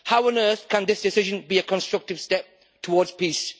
How on earth can this decision be a constructive step towards peace?